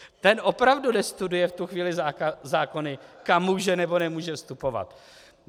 Ten opravdu nestuduje v tu chvíli zákony, kam může, nebo nemůže vstupovat.